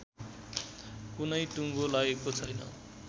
कुनै टुङ्गो लागेको छैन